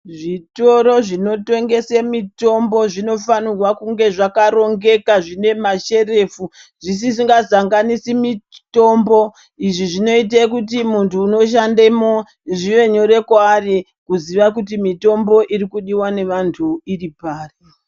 Zvitoro zvinotengese mitombo zvinofanirwa kunge zvakarongeka zvine masherefu zvisisingazanganisi mitombo izvi zvinoite kuti muntu unoshandemo zvive nyore kwaari kuziva kuti mitombo irikudiwa ngevantu iripari.